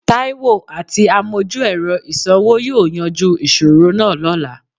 Taiwo àti àmojú-ẹ̀rọ ìsanwó yóò yanjú ìṣòro náà lọ́la